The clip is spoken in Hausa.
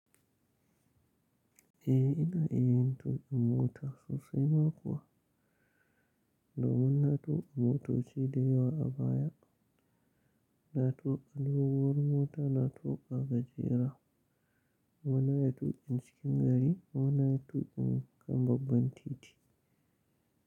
Eh, ina iya yin tukin mota sosai ma kuwa. Do mun na tuka motoci da yawa a baya. Na tuka alawowar mota, na tuka agajera, kuma na yi tuki cikin gari, muna yi tukin kambabban titi.